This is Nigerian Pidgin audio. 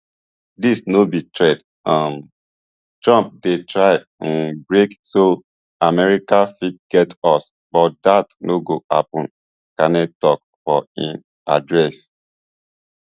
dis no be threat um trump dey try um break so america fit get us but dat no go happun carney tok for im address